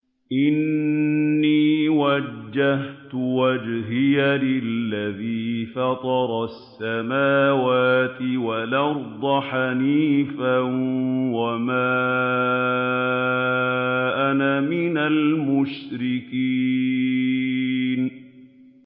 إِنِّي وَجَّهْتُ وَجْهِيَ لِلَّذِي فَطَرَ السَّمَاوَاتِ وَالْأَرْضَ حَنِيفًا ۖ وَمَا أَنَا مِنَ الْمُشْرِكِينَ